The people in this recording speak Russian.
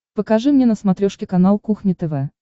покажи мне на смотрешке канал кухня тв